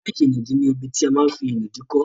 Ráàkì ìnùdí ní ibi tí a ma n fí ìnùdí kọ́